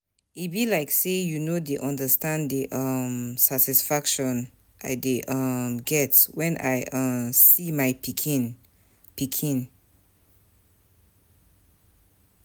E be like say you no dey understand the um satisfaction I dey um get wen I um see my pikin. pikin.